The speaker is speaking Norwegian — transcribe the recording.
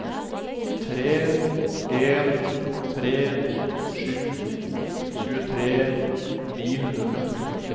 tre en tre sju tjuetre ni hundre og femtito